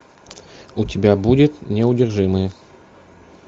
у тебя будет неудержимые